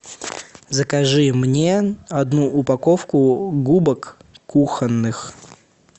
закажи мне одну упаковку губок кухонных